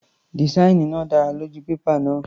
Dìsáìnì náà dára lójú pépà náà.